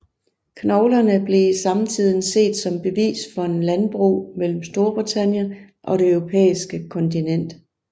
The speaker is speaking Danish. Knoglerne blev i samtiden set som bevis for en landbro mellem Storbritannien og det eurpæiske kontinent